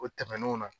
O tɛmɛnenw na